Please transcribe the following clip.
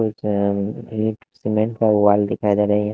एक एक सीमेंट का वाल दिखाई दे रहा है।